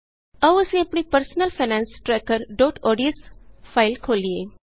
ਆਉ ਅਸੀਂ ਆਪਣੀ personal finance tracker O D S personal finance trackerਓਡੀਐਸ ਫਾਇਲ ਖੋਲ੍ਹੀਏ